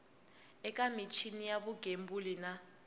eka michini ya vugembuli na